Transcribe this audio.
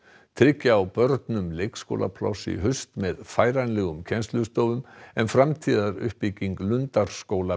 tryggja á börnum leikskólapláss í haust með færanlegum kennslustofum en framtíðaruppbygging Lundarskóla